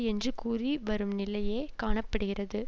என்று கூறிவரும் நிலையே காண படுகிறது